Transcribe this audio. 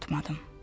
Unutmadım.